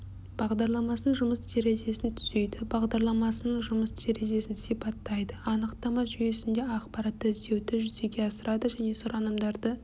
бағдарламасының жұмыс терезесін түзейді бағдарламасының жұмыс терезесін сипаттайды анықтама жүйесінде ақпаратты іздеуді жүзеге асырады және сұранымдарды